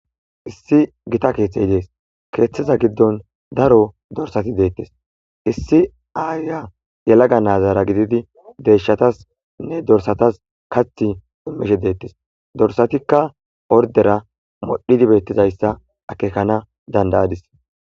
Issi gita keeththey dees. keeththiza giddon daro dorsati deettes issi aaya yelaga naazara gididi deeyshatasinne dorsatas kathi immishe deettes.dorsatikka ordera modhidi beettizayssa akekana dandayadis.